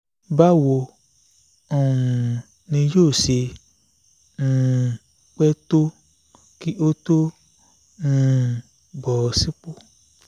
báwo um ni yóò ṣe um pẹ́ tó kí ó tó um bọ́ sípò